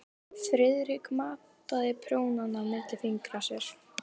Friðrik mátaði prjónana milli fingra sér.